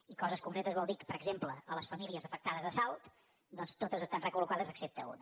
i coses concretes vol dir per exemple que les famílies afectades a salt totes estan recol·locades excepte una